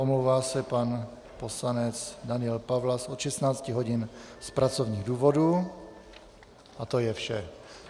Omlouvá se pan poslanec Daniel Pawlas od 16 hodin z pracovních důvodů a to je vše.